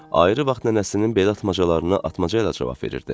Ayrı vaxt nənəsinin belə atmacalarına atmaca ilə cavab verirdi.